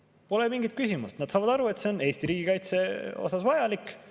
Pole mingit küsimust, nad saavad aru, et see on Eesti riigikaitse jaoks vajalik.